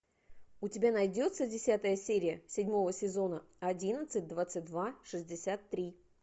у тебя найдется десятая серия седьмого сезона одиннадцать двадцать два шестьдесят три